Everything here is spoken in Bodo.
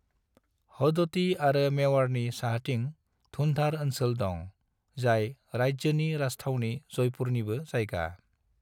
हदोती आरो मेवाड़नि साहाथिं धूंधार ओनसोल दं, जाय राज्योनि राजथावनि जयपुरनिबो जायगा।